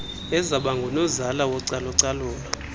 ezaba ngunozala wocalucalulo